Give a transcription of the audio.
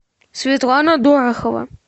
светлана дорохова